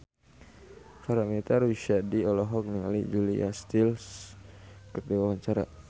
Paramitha Rusady olohok ningali Julia Stiles keur diwawancara